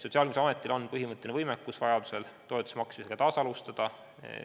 " Sotsiaalkindlustusametil on põhimõtteliselt võimalik vajaduse korral toetuse maksmist taas alustada.